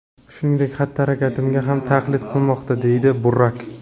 Shuningdek, xatti-harakatimga ham taqlid qilmoqda”, − deydi Burak.